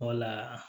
Wala